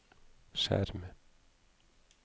skjerm